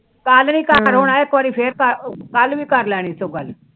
ਕੱਲ ਵੀ ਇੱਕ ਵਾਰੀ ਫਿਰ ਕੱਲ ਵੀ ਕਰ ਲੈਣੀ ਸੋ ਗਲ